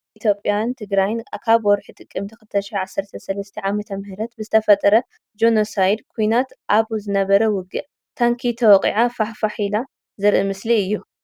ኣብ ኢትዮጵያን ትግራይን ኣብ ወርሒ ጥቅምቲ 2013ዓ.ም ብዝተፈጠረ ጆነሳይድ ኩናት ኣብ ዝነበረ ውግእ ታንኪ ተወቅዓ ፋሕ ፋሕ ኢላ ዘርኢ ምስሊ እዩ።